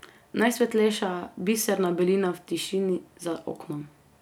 Najsvetlejša, biserna belina v tišini za oknom.